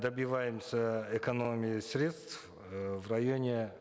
добиваемся экономии средств э в районе